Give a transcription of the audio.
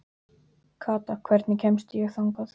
Kata, hvernig kemst ég þangað?